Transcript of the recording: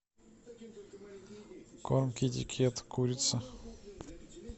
корм китикет курица